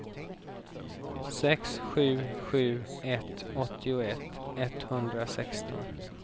sex sju sju ett åttioett etthundrasexton